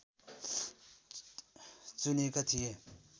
चुनेका थिए